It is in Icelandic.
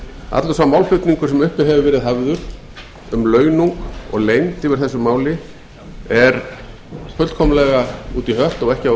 allur sá málflutningur sem uppi hefur verið hafður um launung og leynd yfir þessu máli er fullkomlega út í hött og ekki á